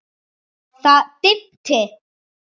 Það dimmdi.